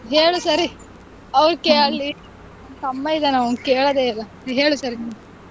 ಹ್ಮ್ ಹೇಳು ಸರಿ okay ಅಲ್ಲಿ ತಮ್ಮ ಇದಾನೆ ಅವ್ನು ಕೇಳೋದೇ ಇಲ್ಲ ಹೇಳು ಸರಿ.